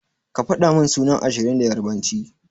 Ka fadamin sunan ashirin da yarbanci.